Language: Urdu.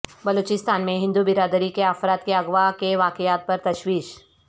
بلوچستان میں ہندو برداری کے افراد کے اغواء کے واقعات پر تشویش